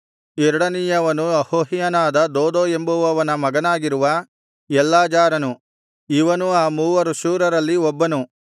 ಎರಡನೆಯವನು ಅಹೋಹ್ಯನಾದ ದೋದೋ ಎಂಬುವವನ ಮಗನಾಗಿರುವ ಎಲ್ಲಾಜಾರನು ಇವನೂ ಆ ಮೂವರು ಶೂರರಲ್ಲಿ ಒಬ್ಬನು